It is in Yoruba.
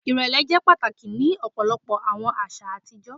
Irẹlẹ jẹ pataki ni ọpọlọpọ awọn aṣa atijọ